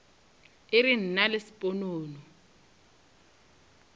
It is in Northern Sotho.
e re nna le sponono